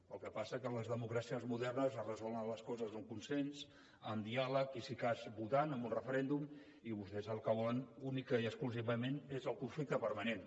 el que passa que a les democràcies modernes es resolen les coses amb consens amb diàleg i si de cas votant en un referèndum i vostès el que volen únicament i exclusivament és el conflicte permanent